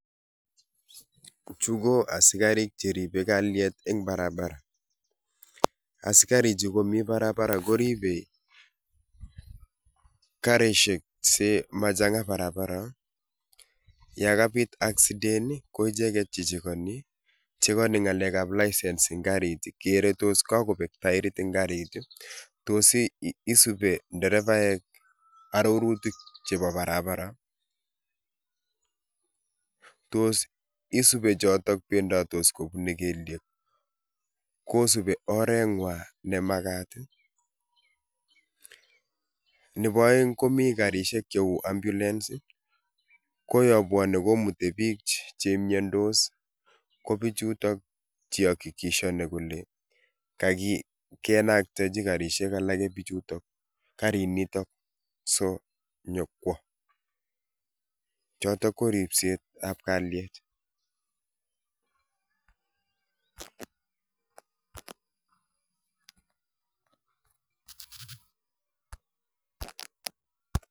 Chu ko asikarik Cheribe kalyet ang Barbara, asikarik chu koribe karishek si machanga eng Barbara ye kabit accident Ii ko icheket che chekeni, chekeni ngalekab license eng karit, kere ngos kakobek taerit eng karit ii, tos isube nderebaek arorutik chebo barabara, tos isube chotok bendoti kobune kelyek, kosubi oret nyuan me makat ii, nebo aeng komi karishek cheu ambulance ko yon bwone komuti bik che miondos, ko bichutok che ii hakikishani kole kakinaktechi karishek alake bichutok, karinitok sonyokwo, chotok ko ribset ab kalyet.